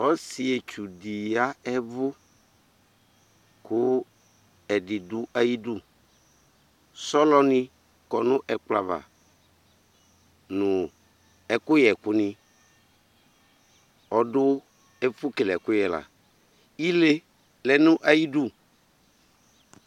Ɔsɩetsu dɩ ya ɛvʋ , kʋ ɛdɩ dʋ ayidu Sɔlɔ nɩ kɔ nʋ ɛkplɔ zva ,nʋ ɛkʋ yɛ ɛkʋ nɩ Ɔdʋ ɛfʋ kele ɛkʋyɛ la ,ile lɛ nʋ zyidu